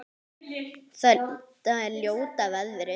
Þetta er ljóta veðrið?